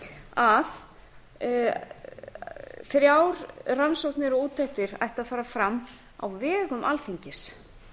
að þrjár rannsóknir og úttektir ættu að fara fram á vegum alþingis